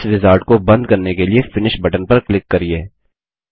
इस विज़ार्ड को बंद करने के लिए फिनिश बटन पर क्लिक करिये